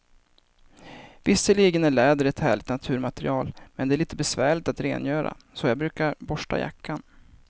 Visserligen är läder ett härligt naturmaterial, men det är lite besvärligt att rengöra, så jag brukar borsta jackan.